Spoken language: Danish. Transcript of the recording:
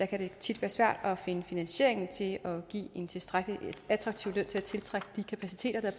kan det tit være svært at finde finansiering til at give en tilstrækkelig attraktiv løn til at tiltrække de kapaciteter der